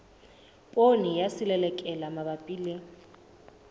poone ya selelekela mabapi le